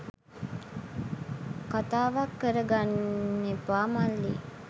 කතාවක් කර ගන්නෙපා මල්ලි.